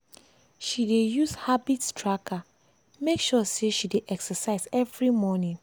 she dey use habit tracker make sure say she dey exercise every morning.